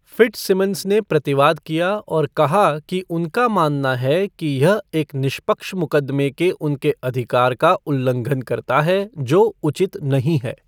Fitzsimmons ने प्रतिवाद किया और कहा कि उनका मानना है कि यह एक निष्पक्ष मुक़दमे के उनके अधिकार का उल्लंघन करता है, जो उचित नहीं है।